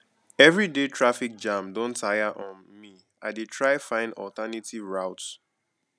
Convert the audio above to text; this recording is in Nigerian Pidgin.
everyday traffic jam don tire um me i dey try find alternative route